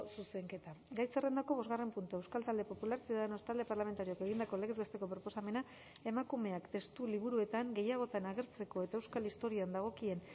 zuzenketa gai zerrendako bosgarren puntua euskal talde popularra ciudadanos talde parlamentarioak egindako legez besteko proposamena emakumeak testu liburuetan gehiagotan agertzeko eta euskal historian dagokien